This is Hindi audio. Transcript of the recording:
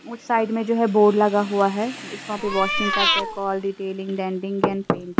उस साइड मैं जो हैं बोर्ड लगा हुआ हैं वहाँ पे वॉशिंग करते कॉल डिटेलिंग ऐंड पेंट --